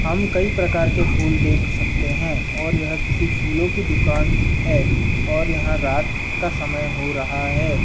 हम कई प्रकार के फूल देख सकते हैं और यह किसी फूलों की दुकान है और यहाँ रात का समय हो रहा है।